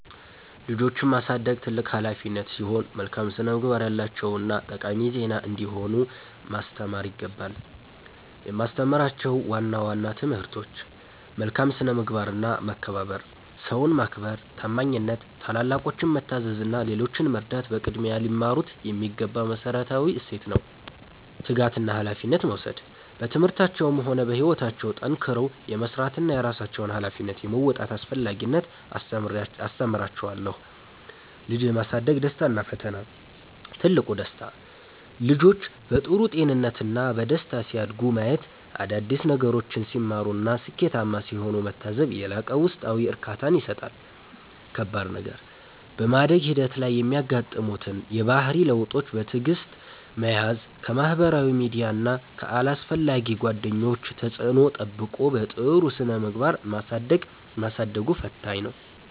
ልጆችን ማሳደግ ትልቅ ኃላፊነት ሲሆን፣ መልካም ስነ-ምግባር ያላቸውና ጠቃሚ ዜጋ እንዲሆኑ ማስተማር ይገባል። የማስተምራቸው ዋና ዋና ትምህርቶች፦ መልካም ስነ-ምግባርና መከባበር፦ ሰውን ማክበር፣ ታማኝነት፣ ታላላቆችን መታዘዝ እና ሌሎችን መርዳት በቅድሚያ ሊማሩት የሚገባ መሠረታዊ እሴት ነው። ትጋትና ኃላፊነት መውሰድ፦ በትምህርታቸውም ሆነ በሕይወታቸው ጠንክረው የመሥራትንና የራሳቸውን ኃላፊነት የመወጣትን አስፈላጊነት አስተምራቸዋለሁ። ልጅ የማሳደግ ደስታና ፈተና፦ ትልቁ ደስታ፦ ልጆች በጥሩ ጤንነትና በደስታ ሲያድጉ ማየት፣ አዳዲስ ነገሮችን ሲማሩና ስኬታማ ሲሆኑ መታዘብ የላቀ ውስጣዊ እርካታን ይሰጣል። ከባድ ነገር፦ በማደግ ሂደት ላይ የሚያጋጥሙትን የባህሪ ለውጦች በትዕግሥት መያዝ፣ ከማኅበራዊ ሚዲያና ከአላስፈላጊ ጓደኞች ተጽዕኖ ጠብቆ በጥሩ ስነ-ምግባር ማሳደጉ ፈታኝ ነው።